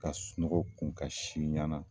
Ka sunɔgɔw kun ka si ɲana